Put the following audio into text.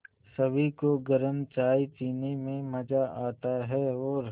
सभी को गरम चाय पीने में मज़ा आता है और